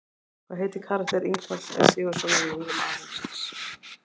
Hvað heitir karakter Ingvars E Sigurðssonar í Englum alheimsins?